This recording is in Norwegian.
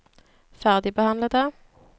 ferdigbehandlede